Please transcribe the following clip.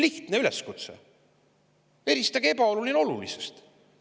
Lihtne üleskutse: eristage ebaoluline olulisest!